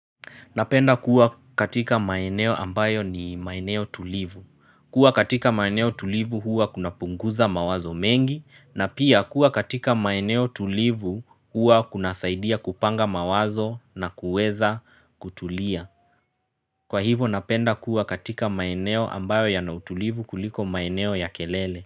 Napenda kuwa katika maeneo ambayo ni maeneo tulivu. Kuwa katika maeneo tulivu huwa kuna punguza mawazo mengi na pia kuwa katika maeneo tulivu huwa kunasaidia kupanga mawazo na kuweza kutulia. Kwa hivo napenda kuwa katika maeneo ambayo yana utulivu kuliko maeneo ya kelele.